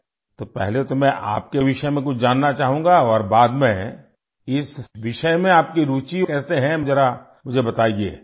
تو پہلے تو میں آپ کے بارے میں کچھ جاننا چاہوں گا اور بعد میں اس موضوع میں آپ کی دلچسپی کیسے ہے ذرا مجھے بتائیے؟